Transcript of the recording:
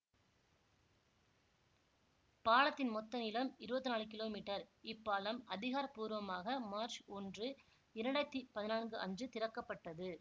பாலத்தின் மொத்த நீளம் இருவத்தி நாலு கிலோ மீட்டர் இப்பாலம் அதிகார பூர்வமாக மார்ச் ஒன்று இரண்டாயிரத்தி பதினான்கு அன்று திறக்க பட்டது